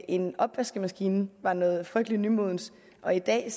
en opvaskemaskine var noget frygtelig nymodens og i dag